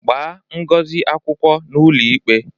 Gbaa Ngozi akwụkwọ n'ụlọikpe!